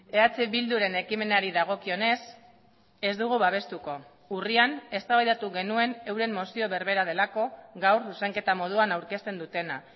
eh bilduren ekimenari dagokionez ez dugu babestuko urrian eztabaidatu genuen euren mozio berbera delako gaur zuzenketa moduan aurkezten dutena